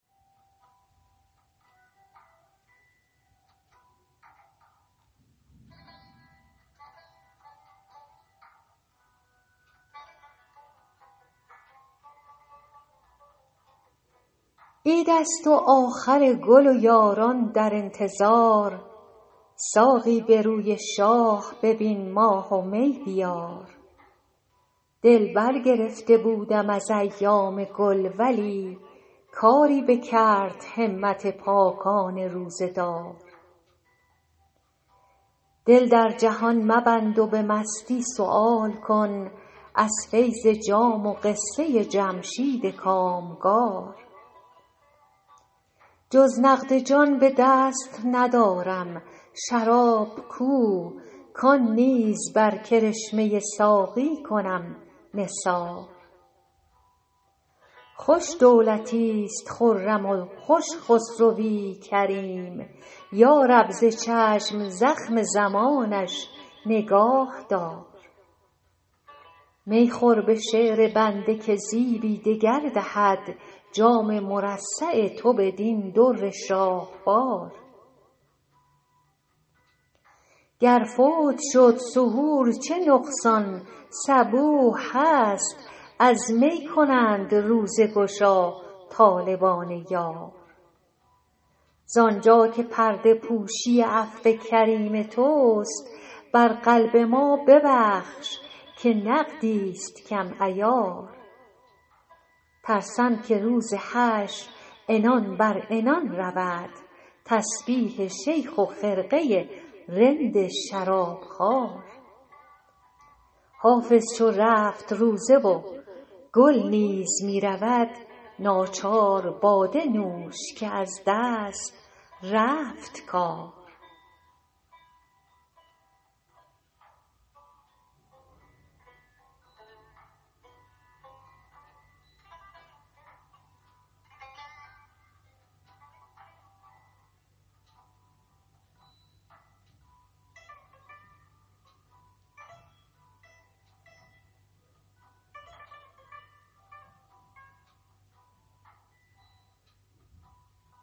عید است و آخر گل و یاران در انتظار ساقی به روی شاه ببین ماه و می بیار دل برگرفته بودم از ایام گل ولی کاری بکرد همت پاکان روزه دار دل در جهان مبند و به مستی سؤال کن از فیض جام و قصه جمشید کامگار جز نقد جان به دست ندارم شراب کو کان نیز بر کرشمه ساقی کنم نثار خوش دولتیست خرم و خوش خسروی کریم یا رب ز چشم زخم زمانش نگاه دار می خور به شعر بنده که زیبی دگر دهد جام مرصع تو بدین در شاهوار گر فوت شد سحور چه نقصان صبوح هست از می کنند روزه گشا طالبان یار زانجا که پرده پوشی عفو کریم توست بر قلب ما ببخش که نقدیست کم عیار ترسم که روز حشر عنان بر عنان رود تسبیح شیخ و خرقه رند شرابخوار حافظ چو رفت روزه و گل نیز می رود ناچار باده نوش که از دست رفت کار